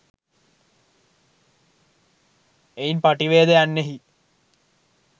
එයින් පටිවේද යන්නෙහි